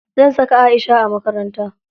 Zan saka Aisha a makaranta.